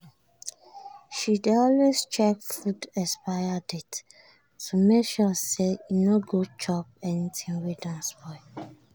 she dey always check food expiry date to make sure say she no go chop anything wey don spoil.